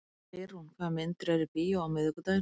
Geirrún, hvaða myndir eru í bíó á miðvikudaginn?